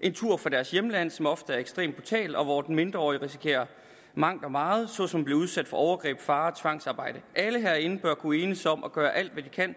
en tur fra deres hjemland som ofte er ekstremt brutal og hvor de mindreårige risikerer mangt og meget såsom at blive udsat for overgreb farer og tvangsarbejde alle herinde bør kunne enes om at gøre alt hvad vi kan